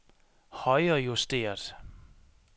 højrejusteret